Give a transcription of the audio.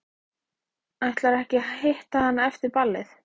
Ætlarðu ekki að hitta hana eftir ballið?